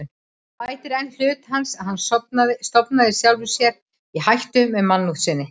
Það bætir enn hlut hans, að hann stofnaði sjálfum sér í hættu með mannúð sinni.